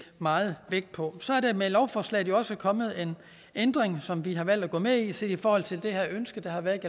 meget vægt på så er der med lovforslaget også kommet en ændring som vi har valgt at gå med i set i forhold til det her ønske der har været